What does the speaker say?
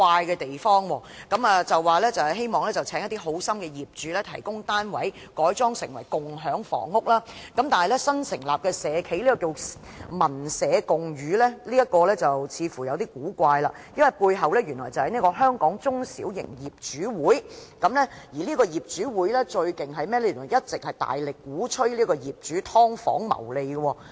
政府表示希望邀請一些好心的業主提供單位，改裝成為共享房屋，但有一間新成立的社企，名為"民社相寓"，似乎有點古怪，因為該社企的背後，原來是香港中小型業主會，而香港中小型業主會最厲害的是，他們一直大力鼓吹業主"劏房"謀利。